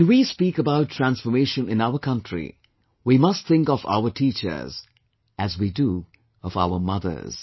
When we speak about transformation in our country, we must think of our teachers as we do of our mothers